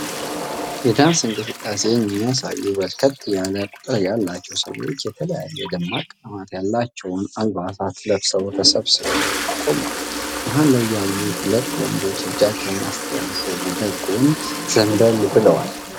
የዳንስ እንቅስቃሴን የሚያሳዩ በርከት ያለ ቁጥር ያላቸው ሰዎች የተለያየ ደማቅ ቀለማት ያላቸውን አልባሳት ለብሰው ተሰብስበው ቆመዋል። መሃል ላይ ያሉ ሁለት ወንዶችም እጃቸውን አስተላልፈው ወደጎን ዘንበል ብለዋል።